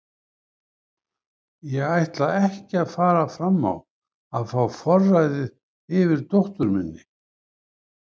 Ég ætla ekki að fara fram á að fá forræðið yfir dóttur minni.